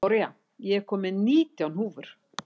Gloría, ég kom með nítján húfur!